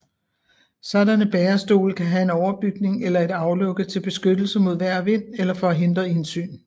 Sådanne bærestole kan have en overbygning eller et aflukke til beskyttelse mod vejr og vind eller for at hindre indsyn